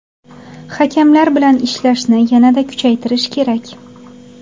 Hakamlar bilan ishlashni yanada kuchaytirish kerak.